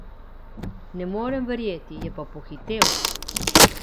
Ne morem verjeti, je pa pohitel!